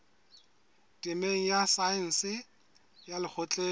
temeng ya saense ya lekgotleng